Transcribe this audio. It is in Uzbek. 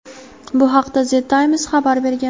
Bu haqda "The Times" xabar bergan.